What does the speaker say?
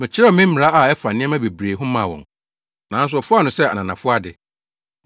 Mekyerɛw me mmara a ɛfa nneɛma bebree ho maa wɔn, nanso wɔfaa no sɛ ananafo ade.